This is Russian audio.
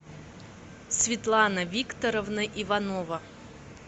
светлана викторовна иванова